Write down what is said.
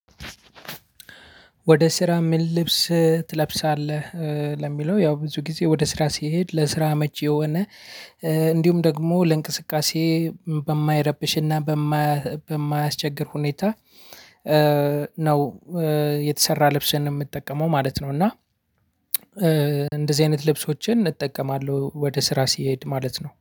ወደ ስራ ምን ልብስ ትለብሳለህ? ለሚለው ያው ብዙ ጊዜ ወደ ስራ ሲሄድ ለስራ አመቺ የሆነ እንዲሁም ደግሞ ለእንቅስቃሴ በማይረብሽና በማያስቸግር ሁኔታ ነው የተሰራ ልብስን የምጠቀመው ማለት ነው። እና እንደዚህ አይነት ልብሶችን እጠቀማለሁ ወደ ስራ ስሄድ ማለት ነው